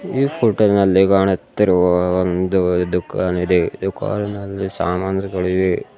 ಈ ಫೋಟೋ ನಲ್ಲಿ ಕಾಣುತ್ತಿರುವ ಒಂದು ದುಖನ್ ಇದೆ ದುಖಾನಿನಲ್ಲಿ ಸಾಮಾನ್ಸ್ ಗಳಿವೆ.